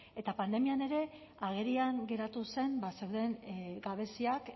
eta pandemian ere agerian geratu zen ba zeuden gabeziak